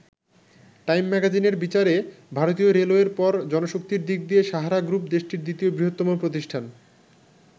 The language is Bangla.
টাইম ম্যাগাজিনের বিচারে, ভারতীয় রেলওয়ের পর জনশক্তির দিক দিয়ে সাহারা গ্রুপ দেশটির দ্বিতীয় বৃহত্তম প্রতিষ্ঠান।